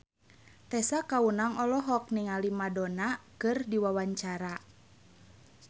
Tessa Kaunang olohok ningali Madonna keur diwawancara